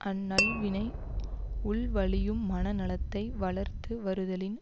அந் நல்வினை உள்வழியும் மனநலத்தை வளர்த்து வருதலின்